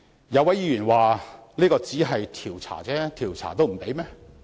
有位議員說：這只是調查，調查也不行？